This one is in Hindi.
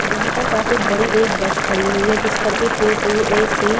यहां पर काफी बड़ी एक बस खड़ी हुई है जिस पर कि टू टू ए_सी --